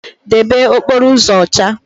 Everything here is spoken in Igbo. Debe okporo uzo ocha